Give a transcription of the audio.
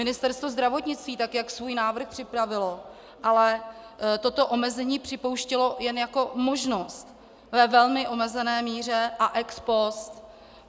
Ministerstvo zdravotnictví, tak jak svůj návrh připravilo, ale toto omezení připouštělo jen jako možnost ve velmi omezené míře a ex post.